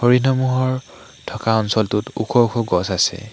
হৰিণাসমূহৰ থকা অঞ্চলটোত ওখ ওখ গছ আছে।